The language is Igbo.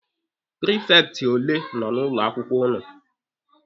Prifekti ole nọ na ụlọ akwụkwọ ụnụ?